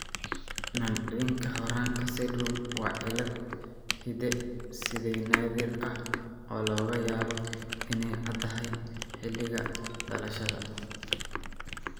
Nancinka Horanka syndrome waa cillad hidde-side naadir ah oo laga yaabo inay caddahay xilliga dhalashada.